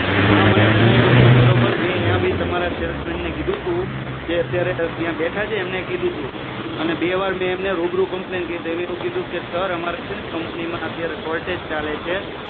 હા મને જણાવ્યું તું બરોબર મે ત્યાં ભી તમારા સેલ્સમેન ને કીધું તું ત્યાં બેઠા છે તેમને મે કીધું તું અને બે વાર એમને રૂબરૂ કમ્પ્લન્ટ કરી તિ એમને મને એવું કીધું કે સર અમારે કંપની માં અત્યારે સોર્ટેજ ચાલે છે